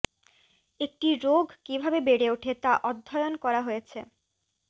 একটি রোগ কীভাবে বেড়ে ওঠে তা অধ্যয়ন করা হয়েছে